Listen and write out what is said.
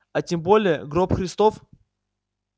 а тем более гроб христов